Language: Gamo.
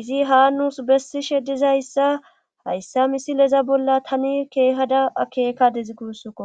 izi ha nuus bessishe dizayssa hayssa misileza bolla tani keehada akeekadez gussuko